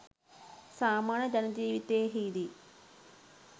සාමාන්‍ය ජන ජීවිතයෙහිදී